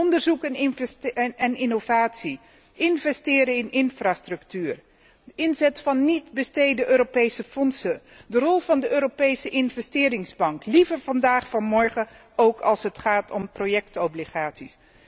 Onderzoek en innovatie, investeren in infrastructuur, inzet van niet bestede Europese fondsen, de rol van de Europese Investeringsbank, liever vandaag dan morgen, ook als het gaat om projectobligaties.